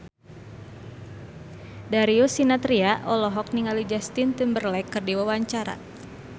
Darius Sinathrya olohok ningali Justin Timberlake keur diwawancara